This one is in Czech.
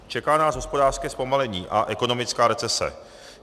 Čeká nás hospodářské zpomalení a ekonomická recese.